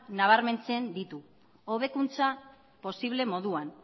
nabarmentzen ditu hobekuntza posible moduan